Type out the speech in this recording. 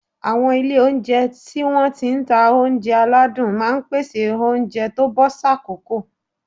Àwọn ilé oúnjẹ tí wọ́n ti ń ta oúnjẹ aládùn máa ń pèsè oúnjẹ tó bọ́ sákòókò